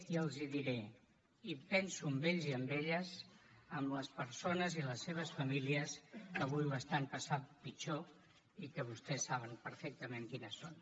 i els hi diré i penso en ells i en elles en les persones i les seves famílies que avui ho estan passant pitjor i que vostès saben perfectament quines són